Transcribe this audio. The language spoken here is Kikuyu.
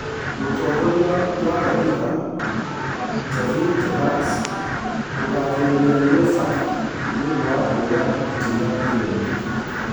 Mũtongoria wa La Liga Javier Tebas kũgathĩrĩria UEFA nĩũndũ wa kuoya ikinya irũmu